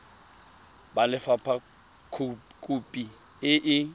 ba lefapha khopi e e